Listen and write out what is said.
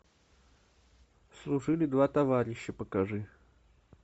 служили два товарища покажи